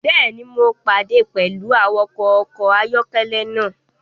Bẹẹni, Mo pade pẹlu awakọ ọkọ ayọkẹlẹ naa